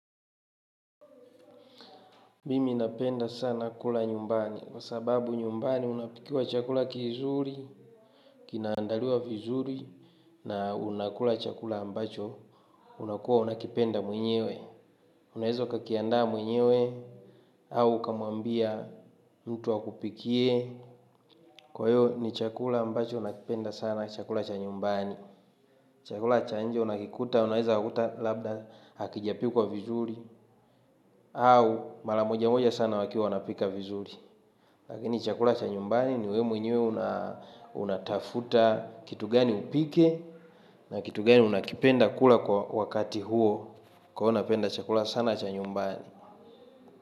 Mimi napenda sana kula nyumbani, kwa sababu nyumbani unapikiwa chakula kizuri, kinaandaliwa vizuri, na unakula chakula chakula ambacho unakuwa unakipenda mwenyewe. Unaeza ukakiandaa mwenyewe au ukamwambia mtu akupikie kwa hivyo nichakula ambacho nakipenda sana ni chakula cha nyumbani. Chakula cha nje unakikuta, unaeza kuta labda hakijapikwa vizuri, au malamoja moja sana wakiwa wanapika vizuri. Lakini chakula cha nyumbani, ni wewe mwenyewe unatafuta kitu gani upike na kitu gani unakipenda kula kwa wakati huo. Kwa hiyo napenda chakula sana cha nyumbani.